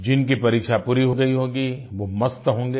जिनकी परीक्षा पूरी हो गई होगी वो मस्त होंगें